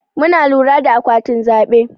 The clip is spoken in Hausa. Muna lura da akwatin zaɓe.